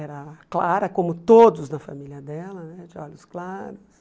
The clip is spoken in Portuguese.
Era clara, como todos na família dela né, de olhos claros.